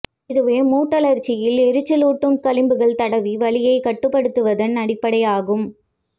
இதுவே மூட்டழற்சியில் எரிச்சலூட்டும் களிம்புகள் தடவி வலியைக் கட்டுப்படுத்துவதன் அடிப்படை ஆகும்